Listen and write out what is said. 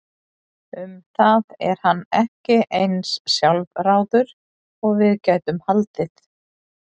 Um það er hann ekki eins sjálfráður og við gætum haldið.